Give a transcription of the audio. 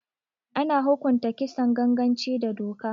Ana hukunta Kisan ganganci da doka